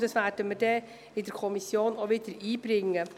Diese werde ich in der Kommission wieder einbringen.